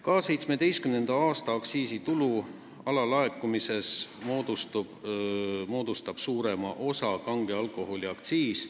Ka 2017. aasta aktsiisitulu alalaekumises moodustab suurema osa kange alkoholi aktsiis.